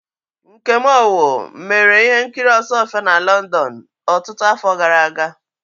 Nkem Owoh mere ihe nkiri Osuofia na London ọtụtụ afọ gara aga.